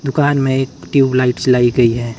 दुकान में एक ट्यूबलाइट जलाई गई हैं।